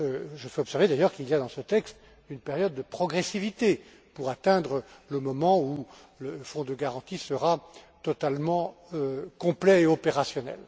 Je fais observer d'ailleurs qu'il y a dans ce texte une période de progressivité pour atteindre le moment où le fonds de garantie sera totalement complet et opérationnel.